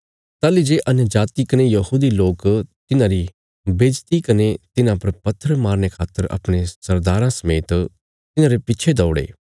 ताहली जे अन्यजाति कने यहूदी लोक तिन्हांरी बेज्जति कने तिन्हां पर पत्थर मारने खातर अपणे सरदाराँ समेत तिन्हांरे पिच्छे दौड़े